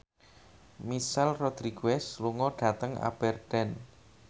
Michelle Rodriguez lunga dhateng Aberdeen